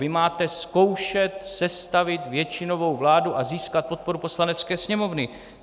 Vy máte zkoušet sestavit většinovou vládu a získat podporu Poslanecké sněmovny.